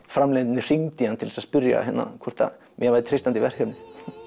framleiðendurnir hringdu í hann til að spyrja hvort mér væri treystandi í verkefnið